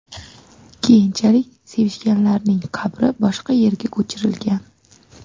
Keyinchalik sevishganlarning qabri boshqa yerga ko‘chirilgan.